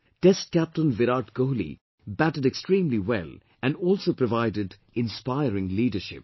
Test captain Virat Kohli batted extremely well and also provided inspiring leadership